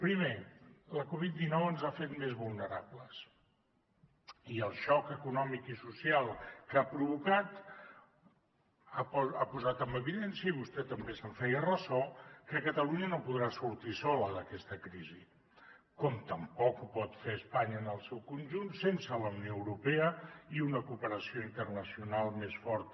primer la covid dinou ens ha fet més vulnerables i el xoc econòmic i social que ha provocat ha posat en evidència i vostè també se’n feia ressò que catalunya no podrà sortir sola d’aquesta crisi com tampoc ho pot fer espanya en el seu conjunt sense la unió europea i una cooperació internacional més forta